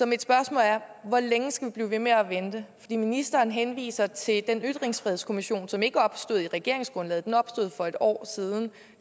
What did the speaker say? mit spørgsmål er hvor længe skal vi blive ved med at vente ministeren henviser til den ytringsfrihedskommission som ikke opstod i regeringsgrundlaget men opstod for et år siden